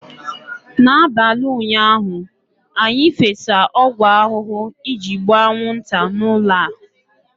n'abalị ụnyaahụ, anyị fesa ọgwụ ahụhụ iji gbuo anwụnta n'ụlọ a